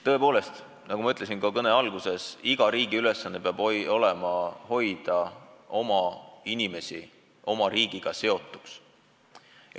Tõepoolest, nagu ma ütlesin ka oma kõne alguses, iga riigi ülesanne peab olema hoida oma inimesi kodumaaga seotuna.